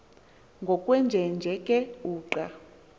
ngokwenjenje ke uqa